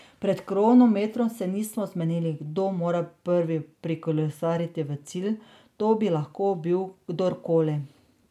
Pred kronometrom se nismo zmenili, kdo mora prvi prikolesariti v cilj, to bi lahko bil kdorkoli.